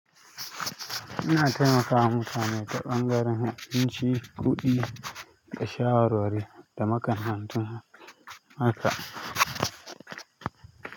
Ina taimakawa mutane ta ɓangaren abinci kuɗi da shawarwari da makamantan haka.